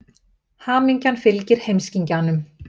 Hamingjan fylgir heimskingjanum.